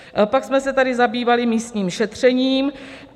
Pak jsme se tady zabývali místním šetřením.